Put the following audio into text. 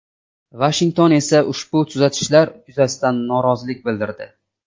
Vashington esa ushbu tuzatishlar yuzasidan norozilik bildirdi.